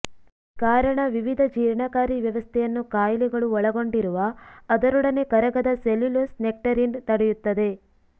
ಕಾರಣ ವಿವಿಧ ಜೀರ್ಣಕಾರಿ ವ್ಯವಸ್ಥೆಯನ್ನು ಕಾಯಿಲೆಗಳೂ ಒಳಗೊಂಡಿರುವ ಅದರೊಡನೆ ಕರಗದ ಸೆಲ್ಯುಲೋಸ್ ನೆಕ್ಟರಿನ್ ತಡೆಯುತ್ತದೆ